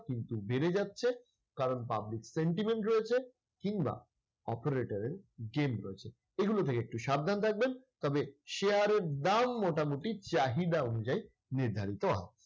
কিন্তু বেড়ে যাচ্ছে কারণ public sentiment রয়েছে, কিংবা operator এর game রয়েছে। এগুলো থেকে একটু সাবধান থাকবেন। তবে share এর দাম মোটামুটি চাহিদা অনুযায়ী নির্ধারিত।